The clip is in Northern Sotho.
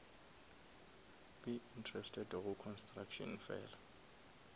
be interested go construction fela